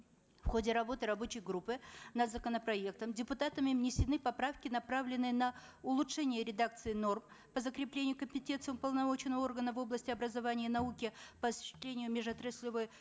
в ходе работы рабочей группы над законопроектом депутатами внесены поправки направленные на улучшение редакции норм по закреплению компетенций уполномоченного органа в области образования и науки по осуществлению межотраслевой